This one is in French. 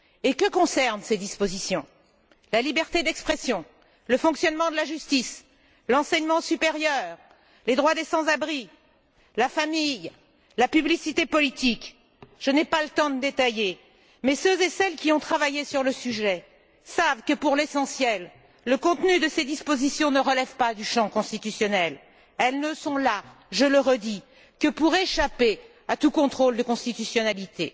Que concernent ces dispositions? La liberté d'expression, le fonctionnement de la justice, l'enseignement supérieur, les droits des sans abris, la famille, la publicité politique. Je n'ai pas le temps de détailler, mais ceux et celles qui ont travaillé sur le sujet savent que, pour l'essentiel, le contenu de ces dispositions ne relève pas du champ constitutionnel. Elles ne sont là je le répète que pour échapper à tout contrôle de constitutionalité.